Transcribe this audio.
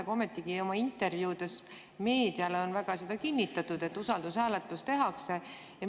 Aga ometigi intervjuudes meediale on seda kinnitatud, et usaldushääletus tehakse.